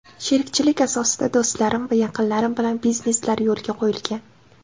Sherikchilik asosida do‘stlarim va yaqinlarim bilan bizneslar yo‘lga qo‘yilgan.